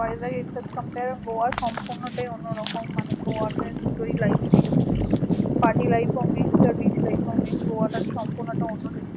গোয়া সম্পূর্ণটাই অন্যরকম মানে গোয়াতে দুটোই life miss party life ও miss গোয়াটা সম্পূর্ণ একটা